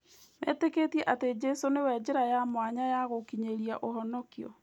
Metĩkĩtie atĩ Jesũ nĩwe njĩra ya mwanya ya gũkinyĩria ũhonokio.